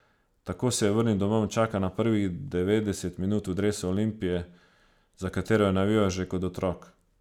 Tako se je vrnil domov in čaka na prvih devetdeset minut v dresu Olimpije, za katero je navijal že kot otrok.